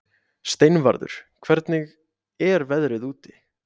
Steinvarður, hvernig er veðrið úti?